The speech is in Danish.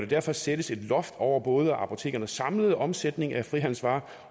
derfor sættes et loft over både apotekernes samlede omsætning af frihandelsvarer